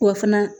O fana